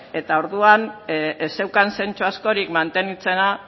eta orduan ez zeukan zentzu askorik mantentzea